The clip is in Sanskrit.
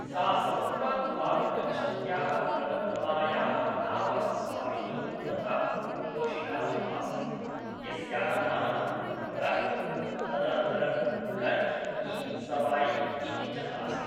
सा समुद्रात् पारं गच्छन्त्याः बृहत्तमायाः नावः स्वामिनी तथा पोषिका च आसीत्, यस्याः नाम रह्म्, तदनन्तरं गञ्ज इ सवायि इति च आसीत्।